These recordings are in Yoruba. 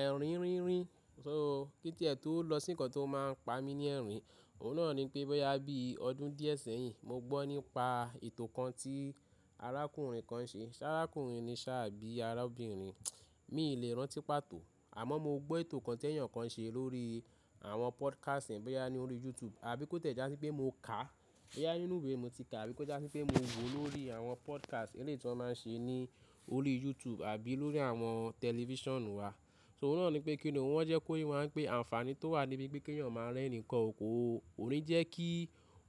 Ẹ̀rín rínrìn, so kíni ẹ̀ tó lọ sí nǹkan tí ó máa ń pa mi ní ẹ̀rín, ọ̀ún náà ni pé bẹ́ yá bí ọdún díẹ̀ sẹ́yìn mo gbọ́ nípa ètò kan tí arákùnrin kan ṣe. Ṣé arákùnrin ni ṣà bí arábìnrin, mi ò lè rántí pàtó. Àmọ́ mo gbọ́ ètò kan tí èèyàn kan ṣe lórí àwọn podcast bẹ́ yá ní orí YouTube àbí kó tẹ̀ já sí pé mo kà á, bẹ́ yá nínú ìwé mo ti kà àbí kó jásí pé mo wò ó lórí àwọn podcast eléyìí tí wọ́n máa ń ṣe ní orí YouTube àbí lórí àwọn tẹlifíṣàn wa. So ọ̀ún náà ni pé kíni wọ́n jẹ́ kóyì wọ́n máa ń pè àǹfààní tó wà níbí pé kí èèyàn máa rẹ́ni kọ́, kò ní jẹ́ kí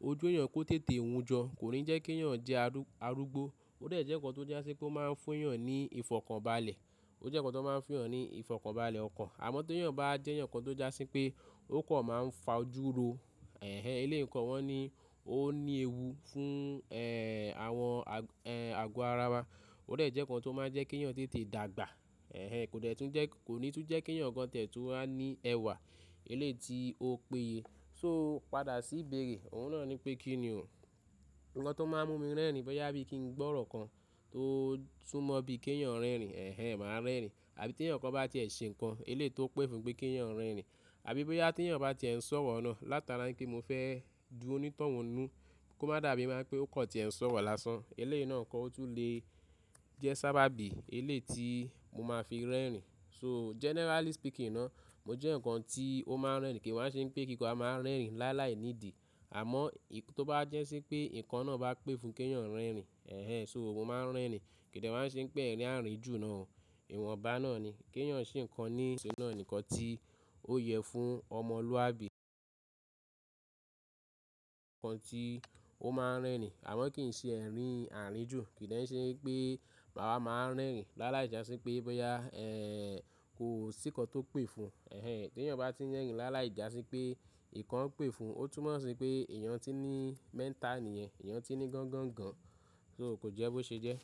ojú èèyàn kó tètè wújọ, kò ní jẹ́ kí èèyàn jẹ́ arúgbó. Ó dẹ̀ jẹ́ nǹkan tó jásí kó máa ń fún èèyàn ní ìfọ̀kànbalẹ̀, ó jẹ́ nǹkan tó máa ń fún èèyàn ní ìfọ̀kànbalẹ̀ ọkàn. Àmọ́ tí èèyàn bá jẹ́ èèyàn kan tó jásí pé ó kọ̀ máa ń fajuro, ẹhẹ eléyìí nǹkan wọ́n ni ó ní ewu fún, ẹ́ẹ́h, àwọn, ẹ́ẹ́h, ago ara wa. Ó dẹ̀ jẹ́ nǹkan tó máa ń jẹ́ kí èèyàn tètè dàgbà, ẹhẹ kò ní tún jẹ́ kí èèyàn gan tẹ̀ tó máa ní ẹwà eléyìí tí ó péye. So padà sí ìbéèrè, ọ̀ún náà ni pé kíni òun? Nǹkan tó máa ń mú mi rẹ́ni bẹ́ yá bí i kí n gbọ́ ọ̀rọ̀ kan tó sumọ̀ bí i kí èèyàn rẹ́rin, ẹhẹ màá rẹ́rin. Àbí tí èèyàn kan bá tẹ̀ ẹ́ ṣe nǹkan eléyìí tó pé fún pé kí èèyàn rẹ́rin. Àbí bóyá tí èèyàn bá ti ń sọ̀rọ̀ náà látara pé mo fẹ́ dùn un tọ́ wọnú kó má dàbí i máa pé ó kọ̀ ti ẹ ń sọ̀rọ̀ lásán. Eléyìí náà kọ́ ó tún lè jẹ́ sábà bí eléyìí tí mo máa fi rẹ́rin. So generally speaking náà, mo jẹ́ nǹkan tí ó máa ń rẹ́ni kì í wá ń ṣe pé kí n máa rẹ́rin lá láì nídìí. Àmọ́ tó bá jẹ́ sí pé nǹkan náà bá pẹ́ fún kí èèyàn rẹ́rin, ẹhẹ so mo máa ń rẹ́rin. Kìdà wá ń ṣe pé ẹ̀rín àárín jù náà ìwọ̀nba náà ni. Kí èèyàn ṣe nǹkan ní ìṣe náà nìkan tí ó yẹ fún ọmọlúwàbí. Nǹkan tí ó máa ń rẹ̀rin àmọ́ kì í ṣe ẹ̀rín àárín jù. Kìdà ṣe wípé bàbá máa ń rẹ́rin lá láì já sí pé bẹ́ yá, ẹ́ẹ́h, kò sí nǹkan tó pẹ́ fún, ẹhẹ tí èèyàn bá ti ń rẹ́rin lá láì já sí pé ìkan pé fún ó túnmọ̀ sí pé èèyàn tí ní mental nìyẹn, èèyàn tí ní gangan gan. So kò jẹ́ bó ṣe jẹ́.